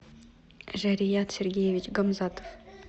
жарият сергеевич гамзатов